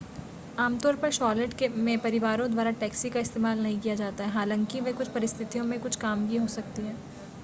आमतौर पर शॉर्लेट में परिवारों द्वारा टैक्सी का इस्तेमाल नहीं किया जाता है हालांकि वे कुछ परिस्थितियों में कुछ काम की हो सकती हैं